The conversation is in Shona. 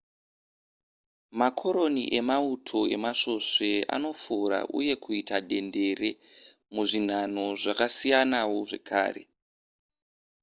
makoroni emauto emasvosve anofora uye kuita dendere muzvinhanho zvakasiyanawo zvakare